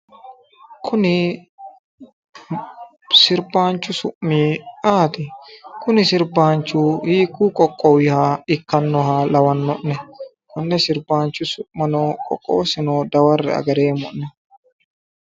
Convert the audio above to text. Kuni sirbaanchu su'mi ayeeti? kuni sirbaanchu hiikkuyi qoqqowiha ikkannoha lawanno'ne? konne sirbaanchu su'masino qoqqowosino dawae'e agareemmo'ne.